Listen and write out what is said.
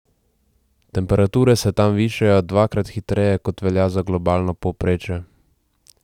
Temperature se tam višajo dvakrat hitreje, kot velja za globalno povprečje.